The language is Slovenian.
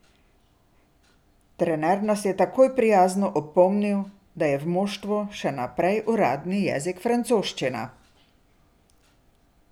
Trener nas je takoj prijazno opomnil, da je v moštvu še naprej uradni jezik francoščina.